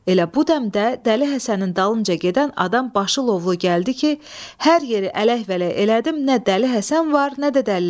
Elə bu dəmdə dəli Həsənin dalınca gedən adam başı lovlu gəldi ki, hər yeri ələk-vələk elədim, nə dəli Həsən var, nə də dəlilər.